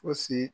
Fosi